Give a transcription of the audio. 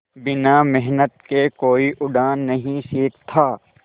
बिना मेहनत के कोई उड़ना नहीं सीखता